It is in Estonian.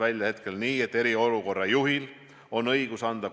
Me teame, et Itaalias on juba olnud mitu mässu.